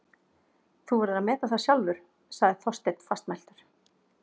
Þú verður að meta það sjálfur- sagði Þorsteinn fastmæltur.